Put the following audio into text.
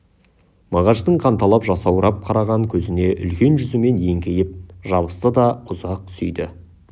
мағаштың қанталап жасаурап қараған көзіне үлкен жүзімен еңкейіп жабысты да ұзақ сүйді